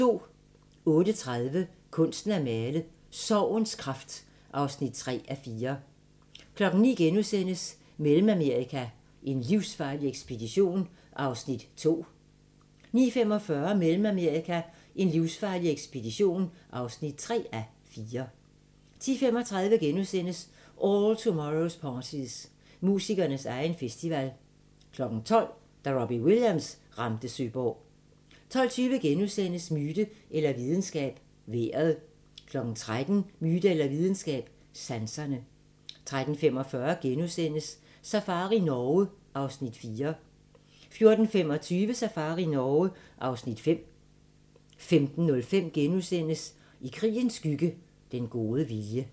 08:30: Kunsten at miste: Sorgens kraft (3:4) 09:00: Mellemamerika: en livsfarlig ekspedition (2:4)* 09:45: Mellemamerika: en livsfarlig ekspedition (3:4) 10:35: All Tomorrows parties – musikernes egen festival * 12:00: Da Robbie Williams ramte Søborg 12:20: Myte eller videnskab – vejret * 13:00: Myte eller videnskab – sanserne 13:45: Safari Norge (Afs. 4)* 14:25: Safari Norge (Afs. 5) 15:05: I krigens skygge – Den gode vilje *